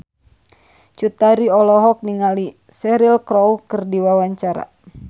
Cut Tari olohok ningali Cheryl Crow keur diwawancara